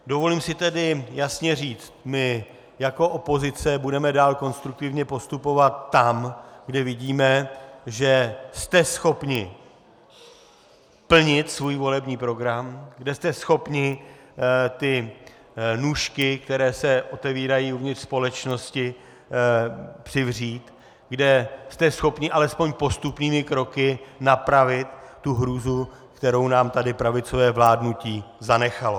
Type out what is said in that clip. Dovolím si tedy jasně říct - my jako opozice budeme dál konstruktivně postupovat tam, kde vidíme, že jste schopni plnit svůj volební program, kde jste schopni ty nůžky, které se otevírají uvnitř společnosti, přivřít, kde jste schopni alespoň postupnými kroky napravit tu hrůzu, kterou nám tady pravicové vládnutí zanechalo.